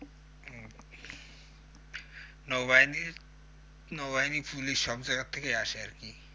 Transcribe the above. নৌবাহিনির নৌবাহিনি পুলিশ সব জায়গার থেকে আসে আরকি